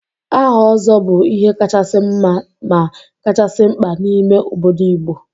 Aha Ozo bu ihe kachasi nma ma kachasi mkpa n'ime obodo Igbo.